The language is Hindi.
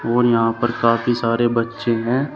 और यहां पर काफी सारे बच्चे हैं।